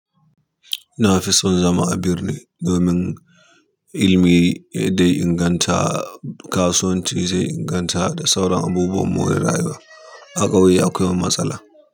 Nafison zama birneli domin ilimi ɗaya inganta, kasuwanci zai inganta da sauran abubuwan more rayuwa. A ƙauye akwai matsala.